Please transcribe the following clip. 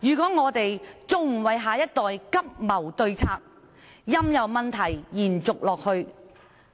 如果我們今天還不為下一代急謀對策，任由問題延續下去，